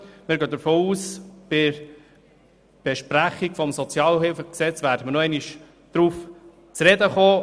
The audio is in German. Wir gehen davon aus, dass wir bei der Beratung des SHG nochmals darauf zu sprechen kommen.